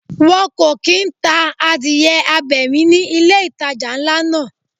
Wọn kò kín ta adìẹ abẹ̀mí ni ilé ìtajà ńlá náà.